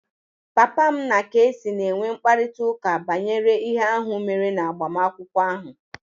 Papa m na kc na-enwe mkparịta ụka banyere ihe ahụ mere na agbamakwụkwọ ahụ